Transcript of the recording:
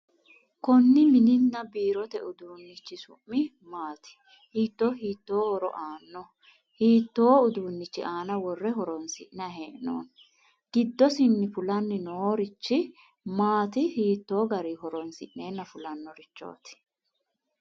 Konni mininna biirote uduunnichi su'mi maati? Hiittoo hiittoo horo aannoho? Hiittoo uduunnichi aana worre horoonsi'nayi hee'noonni. Giddosinni fulayi noorichi maati? Hiittoo garinni horoonsi'neenna fulannorichooti?